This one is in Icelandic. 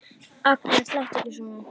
Agnes, láttu ekki svona!